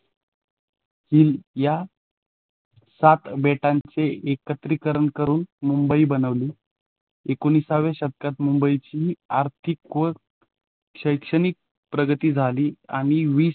हम्म या सात बेटांचे एकत्रीकरण करून मुंबई बनवली. एकोणिसावे शतकात मुंबईची आर्थिक व शैक्षणिक प्रगती झाली आणि वीस